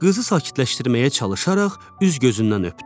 Qızı sakitləşdirməyə çalışaraq üz gözündən öpdü.